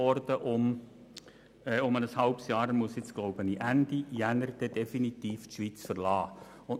Ich glaube, nun muss er die Schweiz Ende Januar definitiv verlassen.